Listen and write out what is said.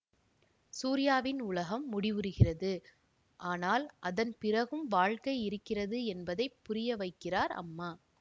சூர்யாவின் உலகம் முடிவுறுகிறது ஆனால் அதன் பிறகும் வாழ்க்கை இருக்கிறது என்பதை புரிய வைக்கிறார் அம்மா